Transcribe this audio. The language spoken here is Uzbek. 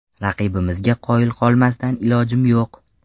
Raqibimizga qoyil qolmasdan ilojim yo‘q.